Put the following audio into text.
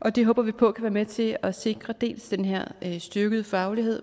og det håber vi på være med til at sikre dels den her styrkede faglighed